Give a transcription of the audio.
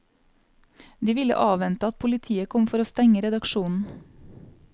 De ville avvente at politiet kom for å stenge redaksjonen.